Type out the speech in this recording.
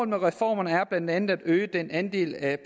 med reformerne er blandt andet at øge den andel af